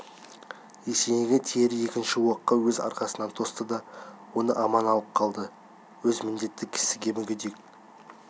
есенейге тиер екінші оққа өз арқасын тосты да оны аман алып қалды өз міндеті кісіде мүгедек